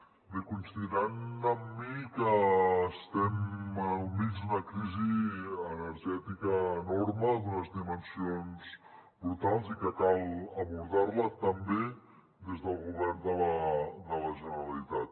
bé deuran coincidir amb mi que estem al mig d’una crisi energètica enorme d’unes dimensions brutals i que cal abordar la també des del govern de la generalitat